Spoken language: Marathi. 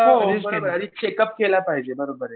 हो बरोबर आहे आधी चेकअप केलं पाहिजे बरोबर आहे.